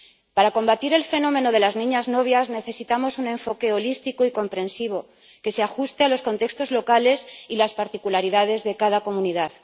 Para combatir el fenómeno de las niñas novias necesitamos un enfoque holístico y comprensivo, que se ajuste a los contextos locales y las particularidades de cada comunidad.